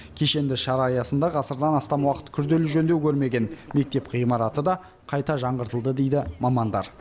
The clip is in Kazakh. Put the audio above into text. кешенді шара аясында ғасырдан астам уақыт күрделі жөндеу көрмеген мектеп ғимараты да қайта жаңғыртылды дейді мамандар